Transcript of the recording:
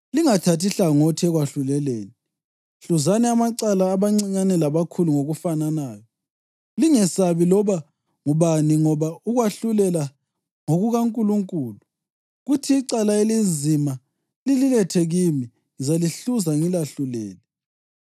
Lingathathi hlangothi ekwahluleleni; hluzani amacala abancinyane labakhulu ngokufananayo. Lingesabi loba ngubani, ngoba ukwahlulela ngokukaNkulunkulu. Kuthi icala elinzima lililethe kimi, ngizalihluza ngilahlulele.’